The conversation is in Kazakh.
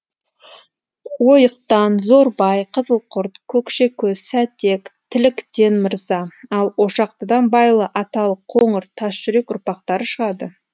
ойықтан зорбай қызылқұрт көкшекөз сәтек тіліктен мырза ал ошақтыдан байлы аталық қоңыр тасжүрек ұрпақтары шығады